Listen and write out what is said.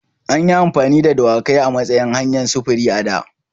An yi amfani da dawakai a matsayin hanyar sufuri a da.